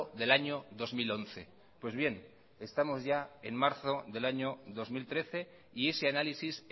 del año dos mil once pues bien estamos ya en marzo del año dos mil trece y ese análisis